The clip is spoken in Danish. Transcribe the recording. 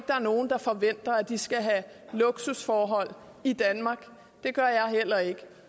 der er nogen der forventer at de skal have luksusforhold i danmark det gør jeg heller ikke